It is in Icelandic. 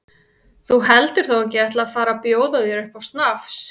Þú heldur þó ekki að ég ætli að fara að bjóða þér upp á snafs?